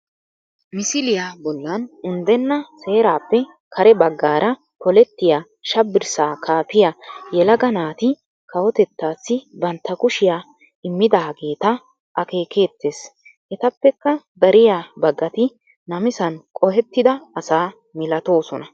Misiliya bollan unddenna seeraappe kare baggaara polettiya shabbirssaa kaafiya yelaga naati kawotettaassi bantta kushiya immidaageeta akeekeettees Etappekka dariya baggati namisan qohettida asa milatoosona